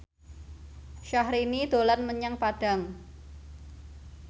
Syahrini dolan menyang Padang